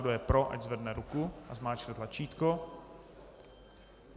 Kdo je pro, ať zvedne ruku a zmáčkne tlačítko.